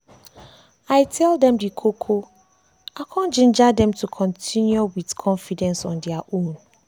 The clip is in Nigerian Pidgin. i tell them the koko i come ginger them to continue to continue with confidence on dia own.